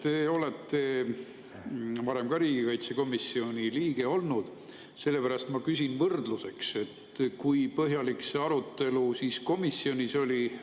Te olete varem ka riigikaitsekomisjoni liige olnud, sellepärast ma küsin võrdluseks, et kui põhjalik see arutelu komisjonis oli.